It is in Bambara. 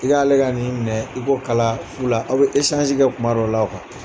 I k'ale ka nin minɛ i k'o kala fu la, aw bɛ kuma dɔ la .